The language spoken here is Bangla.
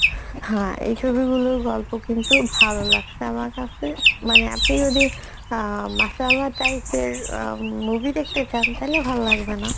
হ্যাঁ এই ছবিগুলোর গল্প কিন্তু ভালো লাগসে আমার কাসে মানে আপনি যদি অ্যাঁ মাসল্লা type এর movie দেখতে চান তাহলে ভাল লাগবেনা